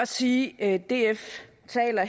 sige at df